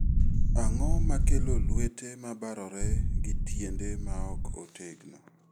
Ang'o makelo lwete mabarore gi tiende maok otegno?